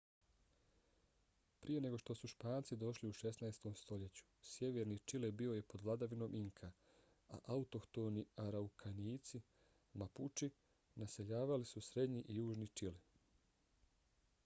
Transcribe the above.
prije nego što su španci došli u 16. stoljeću sjeverni čile bio je pod vladavinom inka a autohtoni araukanijci mapuči naseljavali su srednji i južni čile